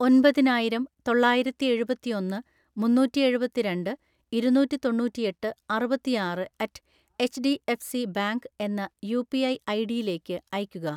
ഒമ്പതിനായിരം തൊള്ളായിരത്തിഎഴുപത്തിഒന്ന് മുന്നൂറ്റിഎഴുപത്തിരണ്ട്‍ ഇരുന്നൂറ്റിതൊണ്ണൂറ്റിഎട്ട് അറുപത്തിആറ് അറ്റ് എച്ച്ഡിഎഫ്സി ബാങ്ക് എന്ന യുപിഐ ഐഡിയിലേക്ക് അയയ്ക്കുക